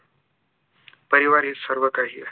परिवार हे सर्व काही आहे